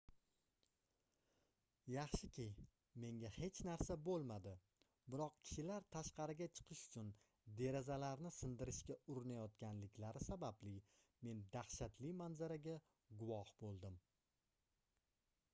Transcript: yaxshiki menga hech narsa boʻlmadi biroq kishilar tashqariga chiqish uchun derazalarni sindirishga urinayotganliklari sababli men dahshatli manzaraga guvoh boʻldim